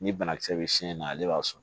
Ni banakisɛ bɛ si in na ale b'a sɔn